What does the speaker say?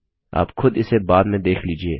आप खुद इसे बाद में देख लीजिए